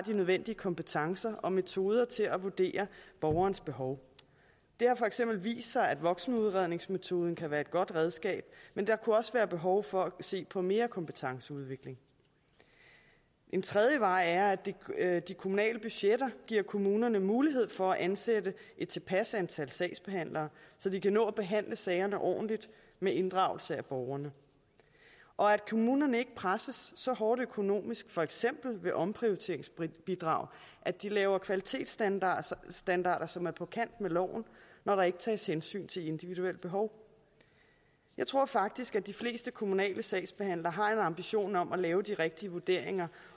nødvendige kompetencer og metoder til at vurdere borgernes behov det har for eksempel vist sig at voksenudredningsmetoden kan være et godt redskab men der kunne også være behov for at se på mere kompetenceudvikling en tredje vej er at de at de kommunale budgetter giver kommunerne mulighed for at ansætte et tilpas antal sagsbehandlere så de kan nå at behandle sagerne ordentligt med inddragelse af borgerne og at kommunerne ikke presses så hårdt økonomisk for eksempel ved omprioriteringsbidraget at de laver kvalitetsstandarder som er på kant med loven når der ikke tages hensyn til individuelle behov jeg tror faktisk at de fleste kommunale sagsbehandlere har en ambition om at lave de rigtige vurderinger